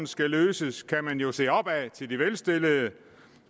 skal løses kan man jo se opad til de velstillede